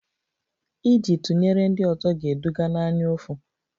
Iji tụnyere ndị ọzọ ga-eduga n'anyaụfụ